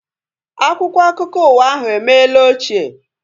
Akwụkwọ akụkọ ụwa ahu emela ochie